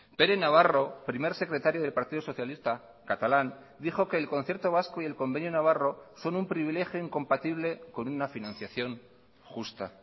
pere navarro primer secretario del partido socialista catalán dijo que el concierto vasco y el convenio navarro son un privilegio incompatible con una financiación justa